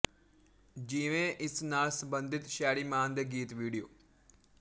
ਜਿਵੇਂ ਇਸ ਨਾਲ ਸੰਬੰਧਿਤ ਸ਼ੈਰੀ ਮਾਨ ਦੇ ਗੀਤ ਵੀਡੀਓ